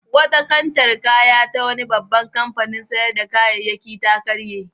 Wata kantar kaya ta wani babban kantin sayar da kayayyaki ta karye.